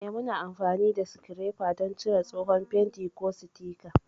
Eh, muna amfani da sikirefa don cire tsohon fenti, ko sitika.